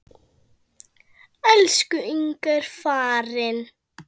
Elsku Inga er farin.